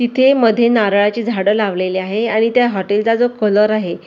इथे मध्ये नारळाचे झाडं लावलेले आहे आणि त्या हॉटेल चा जो कलर आहे--